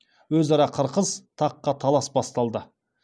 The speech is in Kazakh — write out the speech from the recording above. өзара қырқыс таққа талас басталды